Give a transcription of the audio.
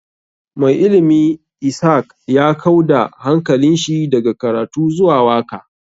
Mai ilimi ishak ya kau da hankalinshi daga karatu zuwa waka.